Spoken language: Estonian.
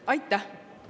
Aitäh!